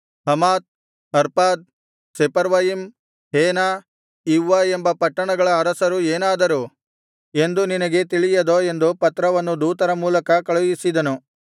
Hamath Arpad Sepharvaim Hena Ivvah ಎಂಬ ಪಟ್ಟಣಗಳ ಅರಸರು ಏನಾದರು ಎಂದು ನಿನಗೆ ತಿಳಿಯದೋ ಎಂದು ಪತ್ರವನ್ನು ದೂತರ ಮೂಲಕ ಕಳುಹಿಸಿದ